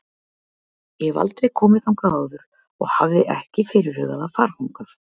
Ég hef aldrei komið þangað áður og hafði ekki fyrirhugað að fara þangað.